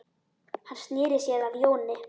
Hann sneri sér að Jóni.